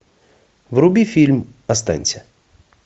вруби фильм останься